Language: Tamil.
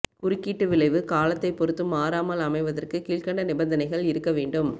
குறுக்கீட்டு விளைவு காலத்தைப் பொறுத்து மாறாமல் அமைவதற்கு கீழ்கண்ட நிபந்தனைகள் இருக்க வேண்டும்